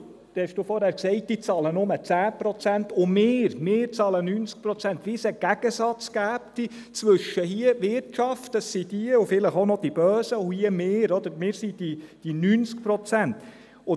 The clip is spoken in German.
Sie haben gesagt, diese bezahle nur 10 Prozent und wir, wir bezahlen 90 Prozent, als gäbe es einen Gegensatz zwischen der Wirtschaft hier – das sind diese hier und vielleicht auch noch die Bösen –, und uns hier, die wir die 90 Prozent sind.